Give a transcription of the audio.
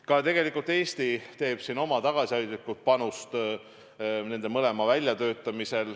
Ka Eesti annab siin tegelikult oma tagasihoidliku panuse nende mõlema väljatöötamisse.